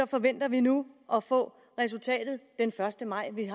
forventer vi nu at få resultatet den første maj i